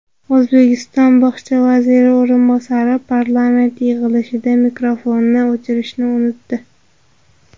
O‘zbekiston bog‘cha vaziri o‘rinbosari parlament yig‘ilishida mikrofonni o‘chirishni unutdi.